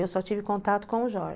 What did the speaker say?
Eu só tive contato com o Jorge.